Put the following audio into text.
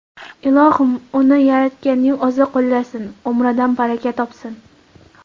Ilohim uni yaratganning o‘zi qo‘llasin, umridan baraka topsin!